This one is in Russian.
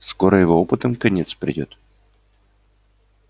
скоро его опытам конец придёт